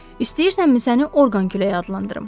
İstəyirsənmi səni Orqan küləyi adlandırım?